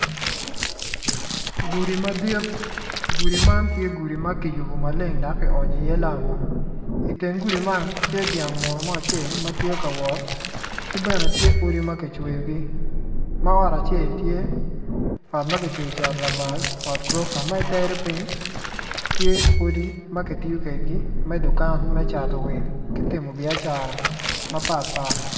Gudi madit gudi ma tye gudi makiyubo maleng dok ki onyo i ye lam o, i teng gudi man tye dyang mo acel matye ka ngol, ki bene tye odi makicweo gi ma ot acel tye ot makicwo cito lamal ot gurofa ma i tere ping tye odi makitiyo kwedgi me dukan me cato wil kitimo biacara mapat pat.